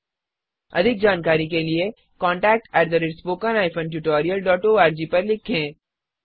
अधिक जानकारी के लिए contactspoken tutorialorg पर लिखें